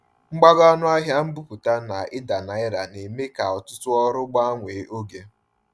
Mgbago ọnụ ahịa mbubata na ida naira na-eme ka ọtụtụ ọrụ gbanwee oge.